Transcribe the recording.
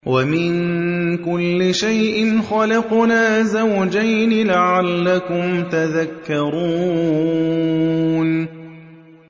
وَمِن كُلِّ شَيْءٍ خَلَقْنَا زَوْجَيْنِ لَعَلَّكُمْ تَذَكَّرُونَ